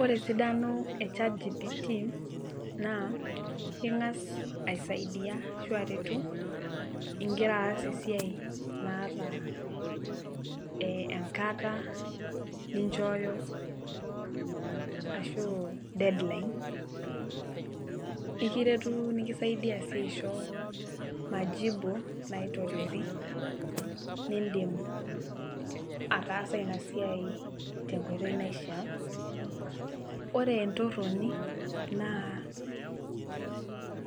Ore esidano echat gpt naa ingas aisaidia ashu aretu ingira aas esiai naata ee enkata ninchooyo ashu deadline , ikiretu nikisaidia sii aisho majibu naitoriori nindim ataasa inasiai tenkoitoi naishiaa . Ore entoroni naa